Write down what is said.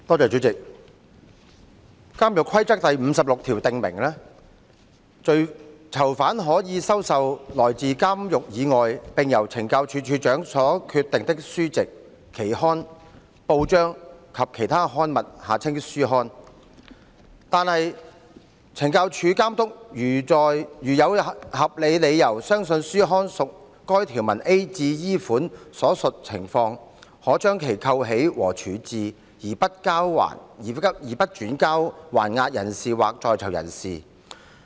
主席，《監獄規則》第56條訂明，"囚犯可收受來自監獄以外並由[懲教署]署長所決定的書籍、期刊、報章或其他刊物"，但懲教署監督如有合理理由相信書刊屬該條文 a 至 e 款所述情況，可將其扣起和處置，而不轉交還押人士或在囚人士。